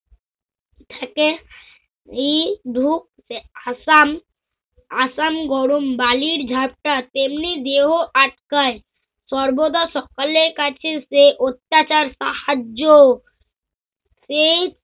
থাকে। এই ধুপ আসাম আসাম গরম বালির ঝাপটা তেমনি দেহ আটকায় সর্বদা সকালের কাছে সে অত্যাচার সাহায্য সেই